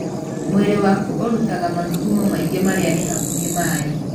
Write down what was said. Mwĩrĩ waku ũrutaga mathugumo maingĩ marĩa nĩ hakuhĩ maĩ.